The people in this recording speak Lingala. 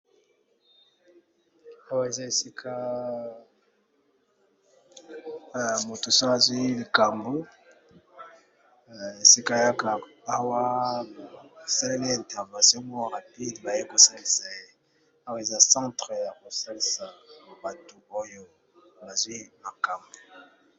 Awa eza esika oyo batu basalisaka batu misusu soki bazwi ba probleme